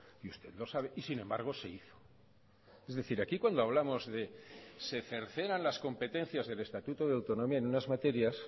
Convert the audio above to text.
y usted lo sabe y sin embargo se hizo es decir aquí cuando hablamos de que se cercenan las competencias del estatuto de autonomía en unas materias